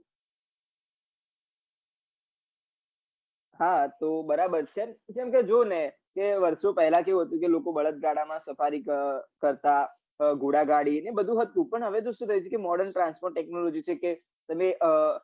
હા તો બરાબર છે કેમ કે જો ને કે વર્ષો પેલા કેવું હતું કે લોકો બળદ ગાડામાં સવારી કરતા ઘોડા ગાડી એ બધું હતું પણ હવે શું થઇ ગયું કે modern transfer technology છે કે તમે અ